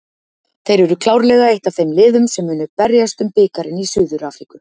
Þeir eru klárlega eitt af þeim liðum sem munu berjast um bikarinn í Suður Afríku